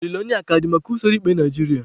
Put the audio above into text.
Olileanya aka dị maka usoro ikpe Naijiria?